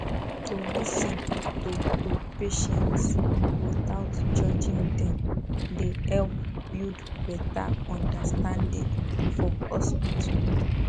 to lis ten to to patients without judging dem dey help build better understanding for hospital